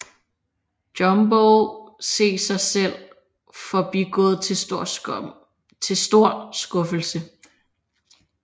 Jumbo se sig selv forbigået til stor skuffelse